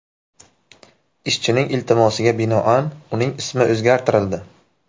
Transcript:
Ishchining iltimosiga binoan uning ismi o‘zgartirildi.